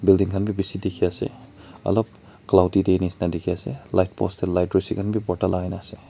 building khan bhi bishi dikhi ase alop cloudy day nisna dikhi ase light post te light rasi khan bhi bhorta lagai na ase.